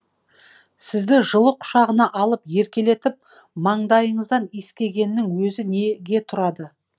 сізді жылы құшағына алып еркелетіп маңдайыңыздан иіскегеннің өзі неге тұрады